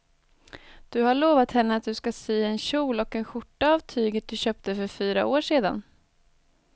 Du har lovat henne att du ska sy en kjol och skjorta av tyget du köpte för fyra år sedan.